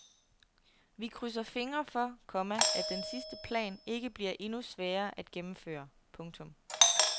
Vi krydser fingre for, komma at den sidste plan ikke bliver endnu sværere at gennemføre. punktum